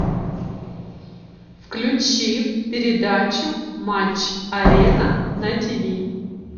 включи передачу матч арена на тв